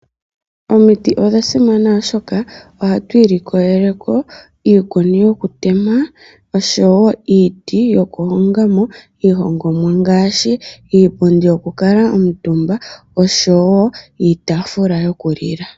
Omiti odha simana oshoka ohatu ilikolele ko iikuni yoketema oshowo iiti yokuhonga mo iihongomwa ngaashi iipundi yokuutumba oshowo iitafula koku lila.